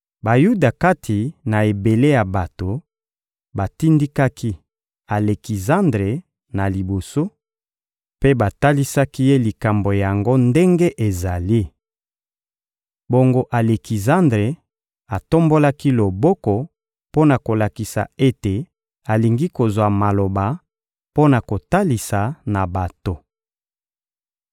Bayuda kati na ebele ya bato batindikaki Alekizandre na liboso, mpe batalisaki ye likambo yango ndenge ezali. Bongo Alekizandre atombolaki loboko mpo na kolakisa ete alingi kozwa maloba mpo na kotalisa na bato.